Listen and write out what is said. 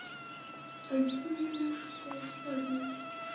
uitvoerende gesag anders